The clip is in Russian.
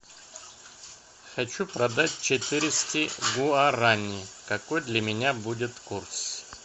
хочу продать четыреста гуарани какой для меня будет курс